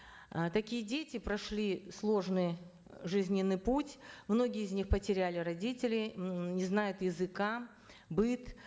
э такие дети прошли сложный жизненный путь многие из них потеряли родителей м не знают языка быт